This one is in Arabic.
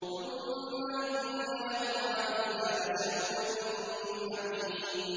ثُمَّ إِنَّ لَهُمْ عَلَيْهَا لَشَوْبًا مِّنْ حَمِيمٍ